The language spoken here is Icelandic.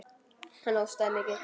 Hann hóstaði mikið.